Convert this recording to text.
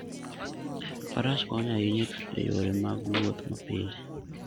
Faras konyo ahinya e yore mag wuoth mapile.